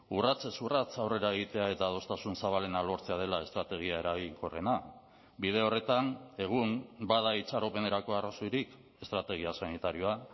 urratsez urrats aurrera egitea eta adostasun zabalena lortzea dela estrategia eraginkorrena bide horretan egun bada itxaropenerako arrazoirik estrategia sanitarioa